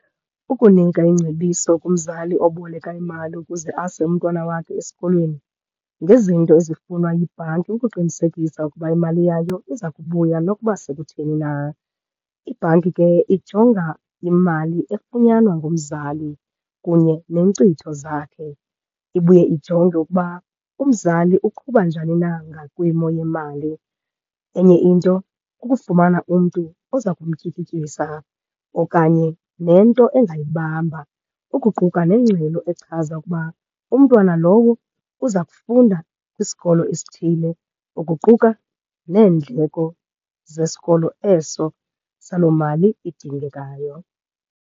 Ukunika ingcebiso kumzali oboleka imali ukuze ase umntwana wakhe esikolweni ngezinto ezifunwa yibhanki, ukuqinisekisa ukuba imali yayo iza kubuya nokuba sekutheni na. Ibhanki ke ijonga imali efunyanwa ngumzali kunye neenkcitho zakhe, ibuye ijonge ukuba umzali uqhuba njani na ngakwimo yemali. Enye into kukufumana umntu oza kumtyikityisa okanye nento engayibamba, ukuquka nengxelo echaza ukuba umntwana lowo uza kufunda kwisikolo esithile, ukuquka neendleko zesikolo eso saloo mali idingekayo.